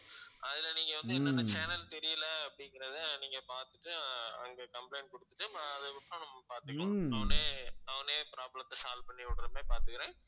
அதுல வந்து நீங்க என்னன்ன channel தெரியல அப்படிங்கறத நீங்க பார்த்துட்டு அங்க complaint குடுத்துட்டு அஹ் அதுக்கப்புறம் நம்ம பார்த்துக்கலாம் அவனே அவனே problem த்த solve பண்ணி விடுற மாதிரி பார்துக்கறேன்